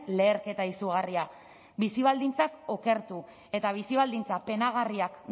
leherketa izugarria bizi baldintzak okertu eta bizi baldintza penagarriak